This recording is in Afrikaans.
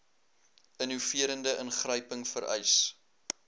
innoverende ingryping vereis